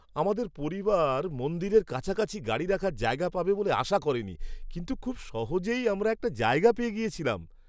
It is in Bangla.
আমাদের পরিবার মন্দিরের কাছাকাছি গাড়ি রাখার জায়গা পাবে বলে আশা করিনি, কিন্তু খুব সহজেই আমরা একটা জায়গা পেয়ে গিয়েছিলাম।